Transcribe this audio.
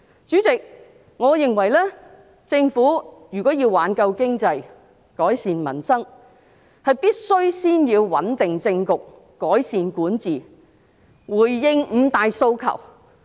主席，我認為政府如果要挽救經濟，改善民生，必須先要穩定政局，改善管治，回應"五大訴求"。